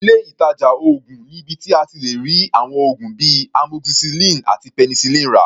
Ilé ìtàjà oògùn ni ibi tí a ti lè rí àwọn oògùn bíi Amoxicillin àti Penicillin rà.